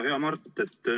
Hea Mart!